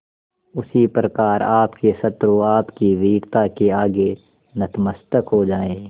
उसी प्रकार आपके शत्रु आपकी वीरता के आगे नतमस्तक हो जाएं